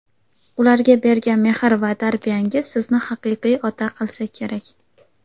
ularga bergan mehr va tarbiyangiz sizni haqiqiy ota qilsa kerak.